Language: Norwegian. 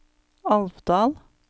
Alvdal